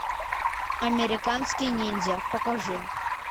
американский ниндзя покажи